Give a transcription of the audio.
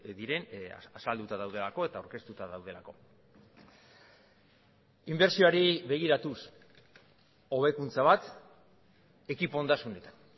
diren azalduta daudelako eta aurkeztuta daudelako inbertsioari begiratuz hobekuntza bat ekipo ondasunetan